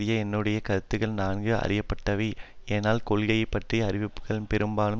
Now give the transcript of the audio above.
என்னுடைய கருத்துக்கள் நன்கு அறியப்பட்டவை ஆனால் கொள்கை பற்றிய அறிவிப்புக்கள் பெரும்பாலும்